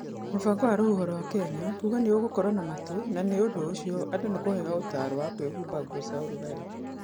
Mũbango wa rũhuho wa Kenya kuuga nĩ ũgũkorũo na matu na nĩ ũndũ ũcio andũ nĩ kũheo ũtaaro wa kwĩhumba nguo cia ũrugarĩ.